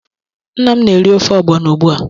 Nna m na-eri ofe ọgbọno ugbu a.